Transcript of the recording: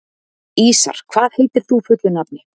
Ísar, hvað heitir þú fullu nafni?